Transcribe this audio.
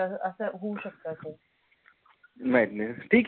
अस होऊ शक्त अस नाही न ठीक आहे